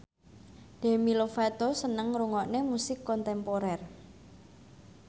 Demi Lovato seneng ngrungokne musik kontemporer